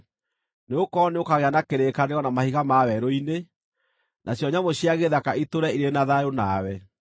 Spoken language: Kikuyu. Nĩgũkorwo nĩũkagĩa na kĩrĩkanĩro na mahiga ma werũ-inĩ, nacio nyamũ cia gĩthaka itũũre irĩ na thayũ nawe.